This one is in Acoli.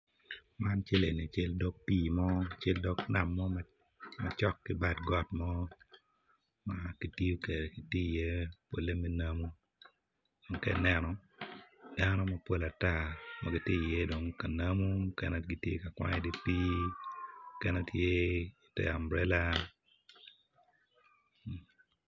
Man eni cal dogi pii mo cal dog nam ma cok ki bad got mo ma kityo kwede me namu ma ka ineno dano mapol ata ma gitye iye ka namu ma kune gitye ka namu mukene tye i te ambrela.